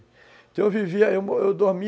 Então eu vivia, eu dormi